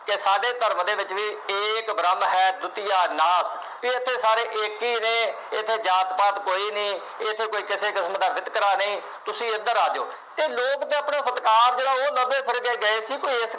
ਕਿ ਸਾਡੇ ਧਰਮ ਦੇ ਵਿੱਚ ਵੀ ਏਕ ਬ੍ਰਹਮ ਹੈ ਦੁਤੀਆ ਨਾਪ ਇੱਥੇ ਸਾਰੇ ਇੱਕ ਹੀ ਰਹੇ। ਇੱਥੇ ਜਾਤ ਪਾਤ ਕੋਈ ਨਹੀਂ। ਇੱਥੇ ਕੋਈ ਕਿਸੇ ਕਿਸਮ ਦਾ ਵਿਤਕਰਾ ਨਹੀਂ। ਤੁਸੀਂ ਇੱਧਰ ਆ ਜਾਉ। ਇਹ ਲੋਕ ਤਾਂ ਆਪਣੇ ਜਿਹੜਾ ਉਹ ਲਵੇ ਫੇਰ ਜੇ ਗਏ ਸੀ ਕੋਈ ਇਸ ਕਰ